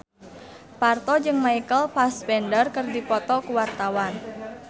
Parto jeung Michael Fassbender keur dipoto ku wartawan